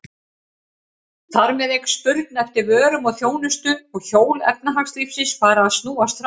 Þar með eykst spurn eftir vörum og þjónustu og hjól efnahagslífsins fara að snúast hraðar.